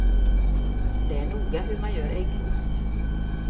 Det är noga hur man gör äggost.